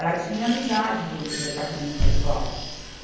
Ela tinha amizade dentro do departamento pessoal.